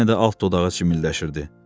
Yenə də alt dodağı cimildəşirdi.